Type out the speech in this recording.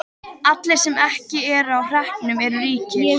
Allir sem ekki eru á hreppnum eru ríkir.